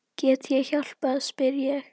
Get ég hjálpað spyr ég.